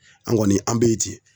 An' kɔni an be ye ten.